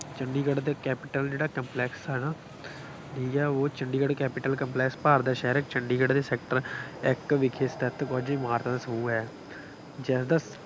ਚੰਡੀਗੜ੍ਹ ਦੇ ਕੈਪੀਟਲ ਜਿਹੜਾ ਕੰਪਲੈਕਸ ਆ ਹੈ ਨਾ, ਠੀਕ ਹੈ, ਉਹ ਚੰਡੀਗੜ੍ਹ ਕੈਪੀਟਲ ਕੰਪਲੈਕਸ ਭਾਰਤ ਦਾ ਸ਼ਹਿਰ ਚੰਡੀਗੜ੍ਹ ਦੇ ਸੈਕਟਰ ਇੱਕ ਵਿਖੇ ਸਥਿਤ ਕੁੱਝ ਇਮਾਰਤਾਂ ਦਾ ਸਮੂਹ ਹੈ। ਜਿਸਦਾ